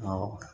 Awɔ